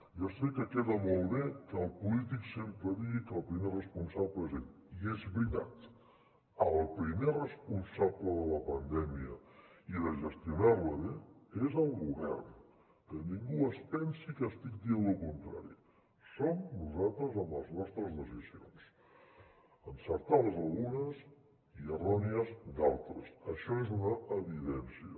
ja sé que queda molt bé que el polític sempre digui que el primer responsable és ell i és veritat el primer responsable de la pandèmia i de gestionar la bé és el govern que ningú es pensi que estic dient lo contrari som nosaltres amb les nostres decisions encertades algunes i errònies d’altres això és una evidència